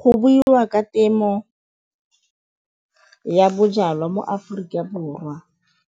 Go buiwa ka temo ya bojalwa mo Aforika Borwa